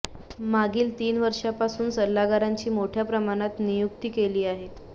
मागील तीन वर्षांपासून सल्लागारांची मोठ्या प्रमाणात नियुक्ती केली आहे